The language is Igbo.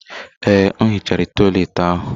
Ee, m hichara toịletị ahụ.